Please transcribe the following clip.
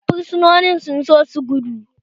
Fursunonin sun so su gudu